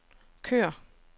kør